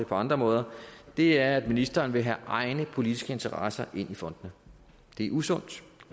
på andre måder og det er at ministeren vil have egne politiske interesser ind i fondene det er usundt